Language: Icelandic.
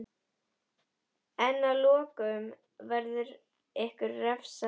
En að lokum verður ykkur refsað.